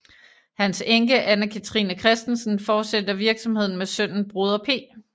Hans enke Anne Cathrine Christensen fortsætter virksomheden med sønnen Broder P